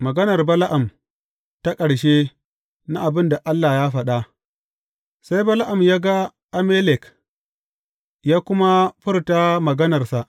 Maganar Bala’am ta ƙarshe na abin da Allah ya faɗa Sai Bala’am ya ga Amalek, ya kuma furta maganarsa.